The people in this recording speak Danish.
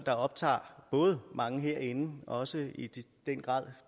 optager både mange herinde også i den grad